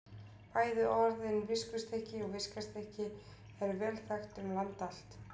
Bæði orðin viskustykki og viskastykki eru vel þekkt um land allt.